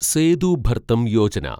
Sethu Bharatam Yojana